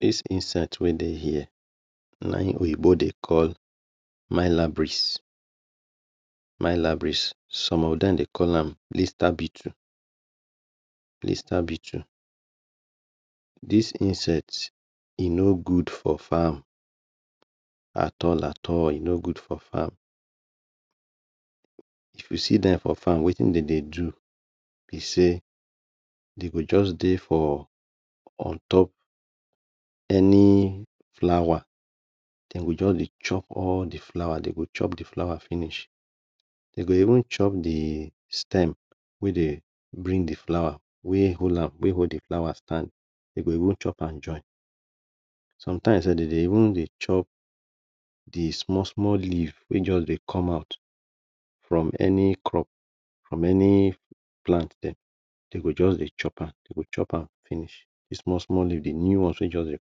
This insect wey dey here na him oyibo dey call, malarias. Malarias. Some of dem dey call am lister Beatle. Lister Beatle. This insect e no good for farm at all at all e no good for farm. If you see dem for farm wetin dem dey do be sey dey go just dey for on top any flower dem go just dey chop all de flower, dem go chop de flower finish. De go even chop de stem wey dey bring de flower, wey hold de flower stand. Dey go even chop am Join. Sometimes self dem dey even dey chop de small small leaf wey just dey come out from any crop from any plant dem. Dey go just dey chop am. Dey go chop am finish; d small small leave, de new ones wey just dey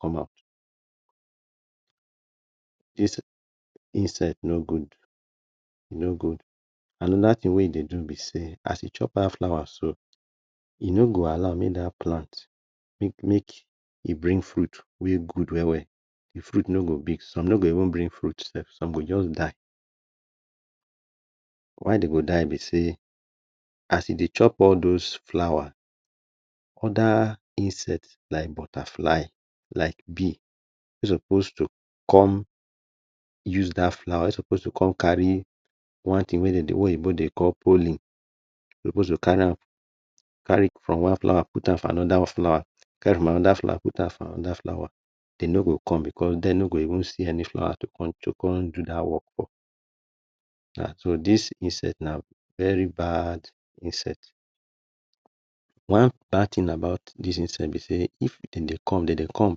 come out. This insect no good e no good. Another thing wey e dey do be sey as e chop dat flower so, e no go allow make that plant make e bring fruit wey good well well. De fruit no go big. Some no go even bring fruit self. Some go just die. Why dey go die be sey as e dey chop all those flower other insect like butterfly like bee suppose to come use that flower wey suppose to come carry one thing wey dey dey oyibo dey call pollen suppose to carry am, carry from one flower put am for another flower, carry from another flower put am for another flower dey no go come because dey no go even see any flower to to come do that work for. Na so this insect, na very bad insect. One bad thing about this insect be sey if dem dey come, dem dey come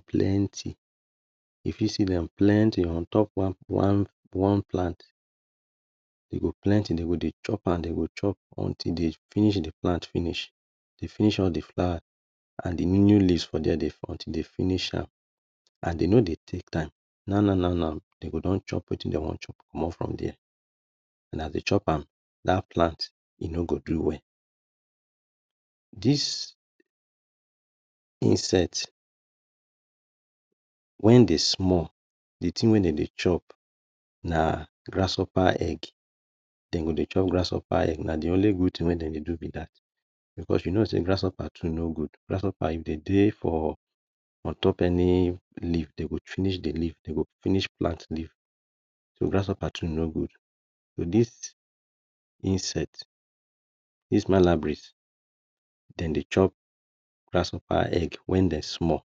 plenty. E fit see dem plenty on top one plant. E go plenty dey go dey chop am dey go chop until de finish de plant finish, dem finish all de flower, de new new leaves for dey until dey finish am and dey no dey take time now now now now dey go don chop wetin dey wan chop comot for there. As dem chop am, now that plant, e no go do well. This insect when dey small de thing wey dey dey chop nagrasshopper egg, dem go dey chop grasshopper egg. Na de only good thing wey dem dey go be that because you know sey grasshopper too no good. If dem dey for ontop any leave dey go finish de leave dey go finish plant leaf. Grasshopper too no good. This insect, this malarias, dem dey chop grasshopper egg when dem small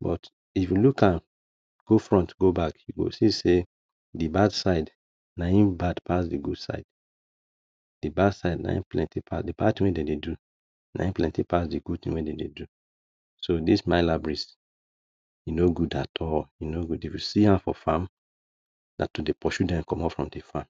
but if you look am go front go back, you go see sey the bad side na him bad pass dey good side. De bad thing we dem dey do, na him plenty pass de good thing we dem dey do. So this malarias e no good at all so if you see am for farm na to dey pursue dem comot for farm.